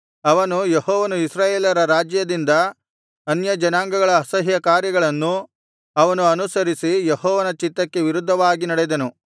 ಅವನು ಯೆಹೋವನು ಇಸ್ರಾಯೇಲರ ರಾಜ್ಯದಿಂದ ಅನ್ಯಜನಾಂಗಗಳ ಅಸಹ್ಯಕಾರ್ಯಗಳನ್ನು ಅವನು ಅನುಸರಿಸಿ ಯೆಹೋವನ ಚಿತ್ತಕ್ಕೆ ವಿರುದ್ಧವಾಗಿ ನಡೆದನು